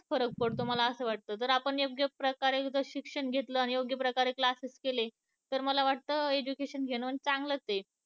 फरक पडतो मला असं वाटत जर आपण योग्य प्रकारे शिक्षण घेतलं आणि योग्य प्रकारे class केले तर मला असं वाटत, education घेणं चांगलाच आहे